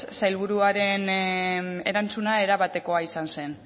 sailburuaren erantzuna erabatekoa izan zen